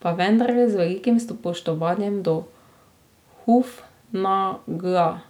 Pa vendarle, z velikim spoštovanjem do Hufnagla